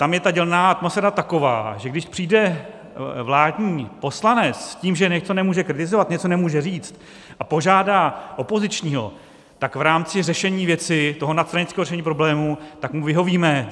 Tam je ta dělná atmosféra taková, že když přijde vládní poslanec s tím, že něco nemůže kritizovat, něco nemůže říct, a požádá opozičního, tak v rámci řešení věci, toho nadstranického řešení problému, tak mu vyhovíme.